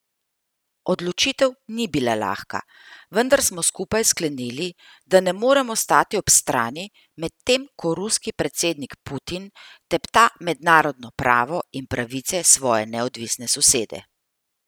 Odločitev ni bila lahka, vendar smo skupaj sklenili, da ne moremo stati ob strani, medtem ko ruski predsednik Putin tepta mednarodno pravo in pravice svoje neodvisne sosede.